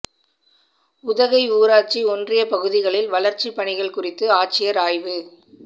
உதகை ஊராட்சி ஒன்றியப் பகுதிகளில் வளா்ச்சிப் பணிகள் குறித்து ஆட்சியா் ஆய்வு